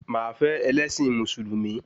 Máa fẹ́ ẹlẹ́ṣin Mùsùlùmí